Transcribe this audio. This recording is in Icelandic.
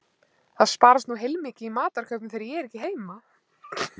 Það sparast nú heilmikið í matarkaupum þegar ég er ekki heima